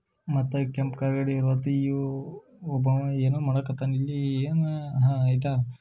ಮತ್ತ ಕೆಂಪ್ ಕಲರ್ ಒಬ್ಬವ ಏನೋ ಮಾಡಕತ್ತಾನ ಇಲ್ಲಿ ಏನ ಆಹ್ ಐತ--